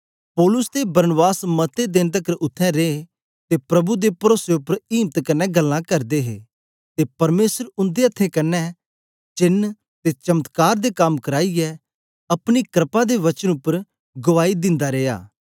पौलुस ते बरनाबास मते देन तकर उत्थें रे ते प्रभु दे परोसे उपर इम्त कन्ने गल्लां करदे हे ते परमेसर उन्दे अथ्थें क्न्ने चैन ते चमत्कार दे कम कराईयै अपनी क्रपा दे वचन उपर गुआई दिंदा रिया